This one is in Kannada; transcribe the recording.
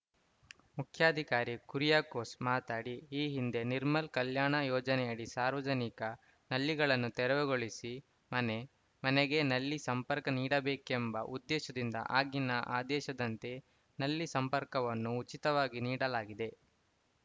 ಮುಖ್ಯಾಧಿಕಾರಿ ಕುರಿಯಕೋಸ್‌ ಮಾತಾಡಿ ಈ ಹಿಂದೆ ನಿರ್ಮಲ ಕಲ್ಯಾಣ ಯೋಜನೆಯಡಿ ಸಾರ್ವಜನಿಕ ನಲ್ಲಿಗಳನ್ನು ತೆರವುಗೊಳಿಸಿ ಮನೆ ಮನೆಗೆ ನಲ್ಲಿ ಸಂಪರ್ಕ ನೀಡಬೇಕೆಂಬ ಉದ್ದೇಶದಿಂದ ಆಗಿನ ಆದೇಶದಂತೆ ನಲ್ಲಿ ಸಂಪರ್ಕವನ್ನು ಉಚಿತವಾಗಿ ನೀಡಲಾಗಿದೆ